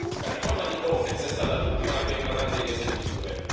La riforma di Frontex è stata l'ultima e la più eclatante di queste misure.